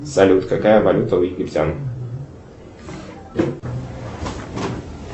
салют какая валюта у египтян